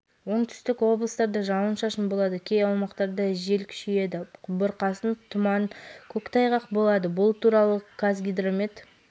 ақмола батыс қазақстан павлодар солтүстік қазақстан күндіз атырау облыстарының кей жерлерінде тұман күтіледі алматы облысының кей